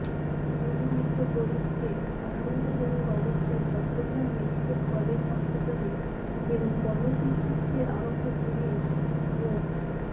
গুলিবিদ্ধ করিমকে আশঙ্কাজনক অবস্থায় চট্টগ্রাম মেডিক্যাল কলেজ হাসপাতালে এবং গণপিটুনিতে আহত পুলিশ মো